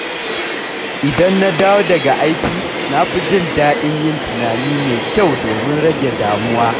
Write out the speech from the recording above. Idan na dawo daga aiki, na fi jin daɗin yin tunani mai kyau domin rage damuwa.